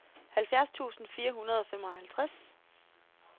halvfjerds tusind fire hundrede og femoghalvtreds